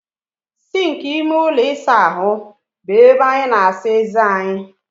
Sịnkị ime ụlọ ịsa ahụ bụ ebe anyị na-asa eze anyị.